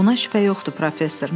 Buna şübhə yoxdur, professor.